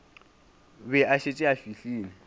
be a šetše a fihlile